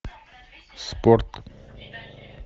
спорт